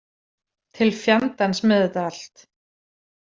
Til fjandans með þetta allt.